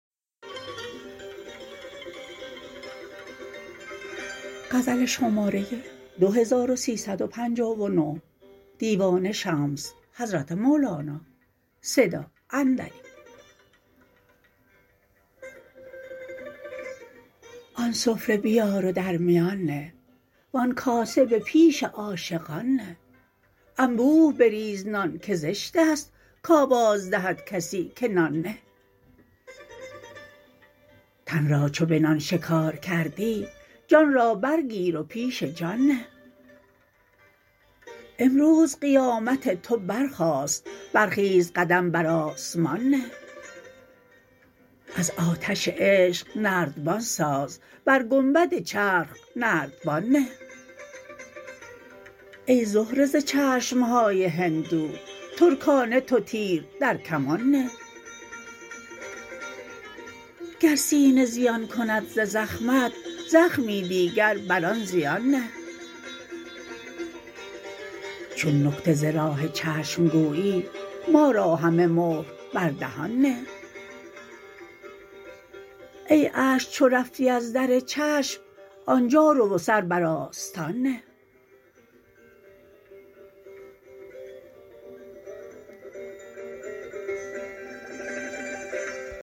آن سفره بیار و در میان نه و آن کاسه به پیش عاشقان نه انبوه بریز نان که زشت است کآواز دهد کسی که نان نه تن را چو به نان شکار کردی جان را برگیر و پیش جان نه امروز قیامت تو برخاست برخیز قدم بر آسمان نه از آتش عشق نردبان ساز بر گنبد چرخ نردبان نه ای زهره ز چشم های هندو ترکانه تو تیر در کمان نه گر سینه زیان کند ز زخمت زخمی دیگر بر آن زیان نه چون نکته ز راه چشم گویی ما را همه مهر بر دهان نه ای اشک چو رفتی از در چشم آنجا رو و سر بر آستان نه